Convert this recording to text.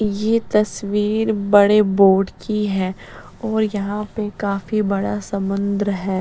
ये तस्वीर बड़े बोर्ड की है और यहन पर काफी बडा समुन्द्र है --